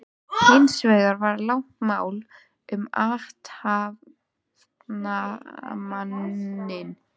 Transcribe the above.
Hins vegar var langt mál um athafnamanninn